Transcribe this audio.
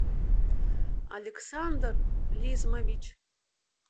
александр лизмович